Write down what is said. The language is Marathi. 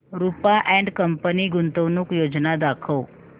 रुपा अँड कंपनी गुंतवणूक योजना दाखव